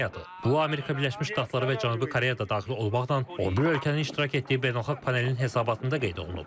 Bu Amerika Birləşmiş Ştatları və Cənubi Koreya da daxil olmaqla, 11 ölkənin iştirak etdiyi beynəlxalq panelin hesabatında qeyd olunub.